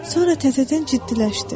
Sonra təzədən ciddiləşdi.